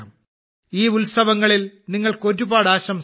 ഈ ഉത്സവങ്ങളിൽ നിങ്ങൾക്ക് ഒരുപാട് ആശംസകൾ